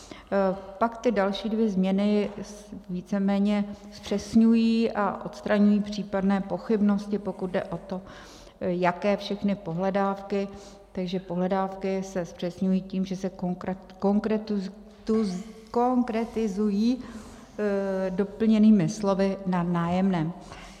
Pak ty další dvě změny víceméně zpřesňují a odstraňují případné pochybnosti, pokud jde o to, jaké všechny pohledávky, takže pohledávky se zpřesňují tím, že se konkretizují doplněnými slovy "na nájemném".